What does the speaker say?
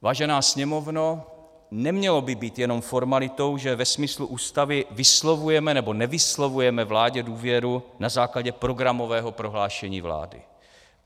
Vážená Sněmovno, nemělo by být jenom formalitou, že ve smyslu Ústavy vyslovujeme nebo nevyslovujeme vládě důvěru na základě programového prohlášení vlády.